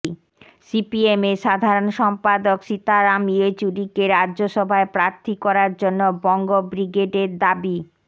সিপিএমের সাধারণ সম্পাদক সীতারাম ইয়েচুরিকে রাজ্যসভায় প্রার্থী করার জন্য বঙ্গ ব্রিগেডের দাবি